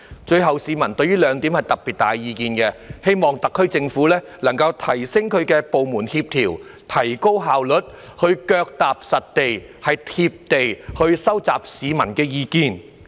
最後，市民對於兩點有特別大的意見：希望特區政府能夠提升部門協調，提高效率，以及腳踏實地，"貼地"收集市民的意見。